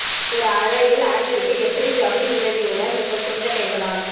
ஒரு அறையில் அலங்கரிக்க எப்படி ஜவுளி உதவியுடன் உங்கள் சொந்த கைகளால்